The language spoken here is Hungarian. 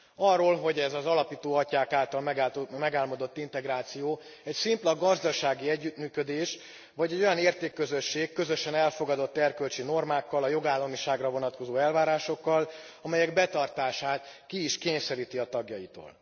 Arról, hogy ez az alapító atyák által megálmodott integráció egy szimpla gazdasági együttműködés, vagy egy olyan értékközösség, közösen elfogadott erkölcsi normákkal, a jogállamiságra vonatkozó elvárásokkal, amelyek betartását ki is kényszeríti a tagjaitól.